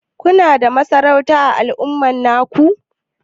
Kuna da masarauta ã al'umma naku?